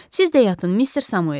Siz də yatın, Mister Samuel.